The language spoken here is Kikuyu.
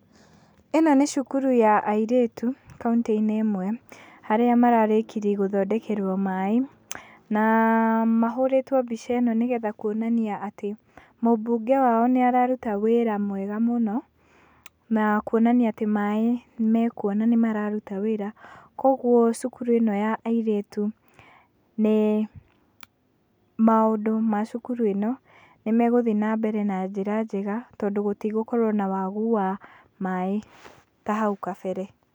Ĩno nĩ cukuru ya airĩtu, kauntĩ-inĩ ĩmwe, arĩa mararĩkirie gũthondekerwo maĩ, na mahũrĩtwo mbica ĩno nĩ getha kuonania atĩ, mũmbunge wao nĩararuta wĩra mwega mũno, na kuonania atĩ maĩ, marĩ kuo na nĩ mararuta wĩra, kwoguo cukuri ĩno ya airĩtu nĩ, maũndũ ma cukuru ĩno nĩ megũthiĩ na njĩra njega, tondũ matigũkorwo na thĩna wa maĩ, ta hau gabere.